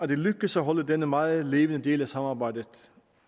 det lykkes at holde denne meget levende del af samarbejdet